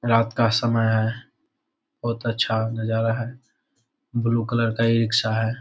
रात का समय है बहुत अच्छा नजारा है ब्लू कलर का ई-रिक्शा है।